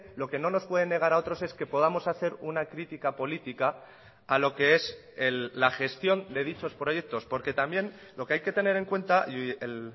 lo que no nos puede negar a otros es que podamos hacer una crítica política a lo que es la gestión de dichos proyectos porque también lo que hay que tener en cuenta y el